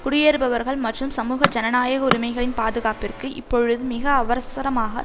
குடியேறுபவர்கள் மற்றும் சமூக ஜனநாயக உரிமைகளின் பாதுகாப்பிற்கு இப்பொழுது மிக அவசரமாக